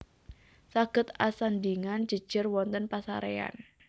Saged asandhingan jèjèr wonten pasaréyan